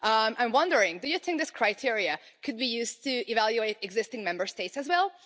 I am wondering, do you think this criteria could be used to evaluate existing Member States as well?